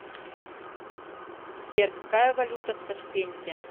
сбер какая валюта в ташкенте